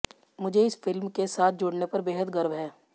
मुझे इस फिल्म के साथ जुड़ने पर बेहद गर्व है